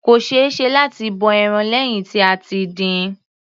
Kò ṣeéṣe láti bọ ẹran lẹ́hìn tí a ti dín-in.